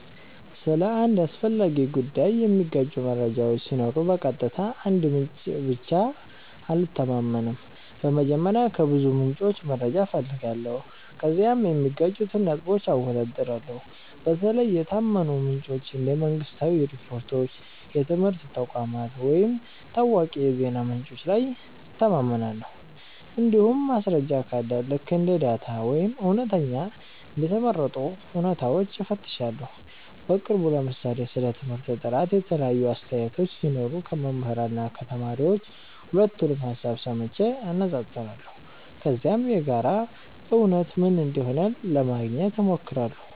ስለ አንድ አስፈላጊ ጉዳይ የሚጋጩ መረጃዎች ሲኖሩ በቀጥታ አንድ ምንጭ ላይ ብቻ አልተማመንም። በመጀመሪያ ከብዙ ምንጮች መረጃ እፈልጋለሁ፣ ከዚያም የሚጋጩትን ነጥቦች አወዳድራለሁ። በተለይ የታመኑ ምንጮች እንደ መንግሥታዊ ሪፖርቶች፣ የትምህርት ተቋማት ወይም ታዋቂ የዜና ምንጮች ላይ እተማመናለሁ። እንዲሁም ማስረጃ ካለ ልክ እንደ ዳታ ወይም እውነተኛ እንደ ተመረጡ እውነታዎች እፈትሻለሁ። በቅርቡ ለምሳሌ ስለ ትምህርት ጥራት የተለያዩ አስተያየቶች ሲኖሩ ከመምህራን እና ከተማሪዎች ሁለቱንም ሀሳብ ሰምቼ አነፃፅራለሁ። ከዚያም የጋራ እውነት ምን እንደሆነ ለማግኘት ሞክራለሁ።